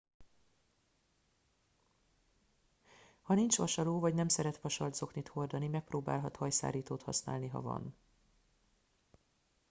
ha nincs vasaló vagy nem szeret vasalt zoknit hordani megpróbálhat hajszárítót használni ha van